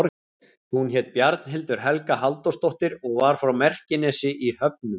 Hún hét Bjarnhildur Helga Halldórsdóttir og var frá Merkinesi í Höfnum.